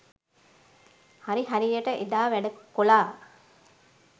හරි හරියට එදා වැඩ කොලා.